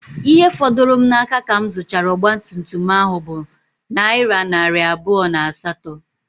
Ihe fọdụrụ m n'aka ka m zuchara ọgba tum tum ahụ bụ nayira narị abụọ na asato